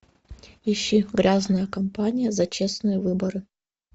ищи грязная кампания за честные выборы